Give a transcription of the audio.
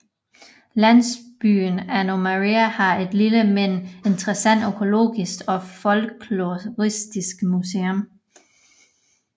Landsbyen Ano Meria har et lille men interessant økologisk og folkloristisk museum